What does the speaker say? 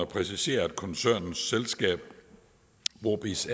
præciseres at koncernens selskab brobizz